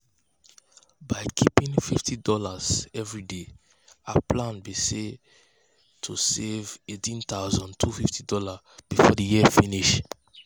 um by keeping fifty dollarsevery day um her plan be say say to save $18250 um before the year finish.